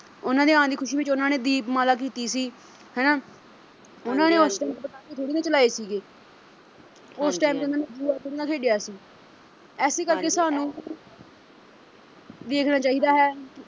ਉਨ੍ਹਾਂ ਦੇ ਆਣ ਦੀ ਖੁਸ਼ੀ ਵਿੱਚ ਉਨ੍ਹਾਂ ਨੇ ਦੀਪਮਾਲਾ ਕੀਤੀ ਸੀ ਹਨਾਂ ਉਨ੍ਹਾਂ ਨੇ ਉਸ ਦਿਨ ਪਟਾਕੇ ਥੋੜੀ ਨਾ ਚਲਾਏ ਸੀਗੇ ਉਸ time ਤੇ ਉਨ੍ਹਾਂ ਨੇ ਜੂਆ ਥੋੜੀ ਨਾ ਖੇਡਿਆ ਸੀ ਐਸੇ ਕਰਕੇ ਸਾਨੂੰ ਦੇਖਣਾ ਚਾਹੀਦਾ ਹੈ